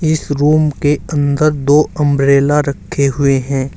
इस रूम के अंदर दो अंब्रेला रखें हुए हैं।